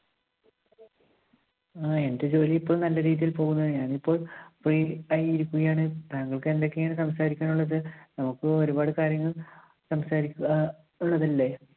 ആ എന്റെ ജോലി ഇപ്പോൾ നല്ല രീതിയിൽ പോകുന്നു. ഞാനിപ്പോൾ free ആയി ഇരിക്കുകയാണ്. താങ്കൾക്ക് എന്തൊക്കെയാണ് സംസാരിക്കാൻ ഉള്ളത്? നമുക്ക് ഒരുപാട് കാര്യങ്ങൾ സംസാരിക്കുവാൻ ഉള്ളതല്ലേ?